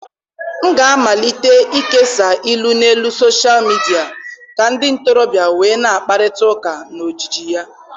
M ga-amalite ịkesa ilu n'elu soshal midia ka ndị ntorobịa wee na-akparịta ụka na ojiji ya.